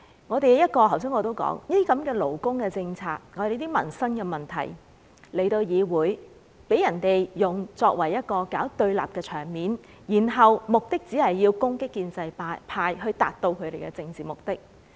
正如我剛才所說，勞工政策和民生問題在議會被人用來搞對立，反對派只是為了攻擊建制派，以達至其政治目的。